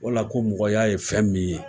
Wala ko mɔgɔya ye fɛn min ye.